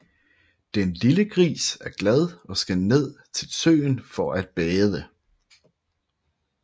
Den lille gris er glad og skal ned til søen for at bade